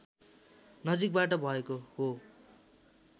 नजीकबाट भएको हो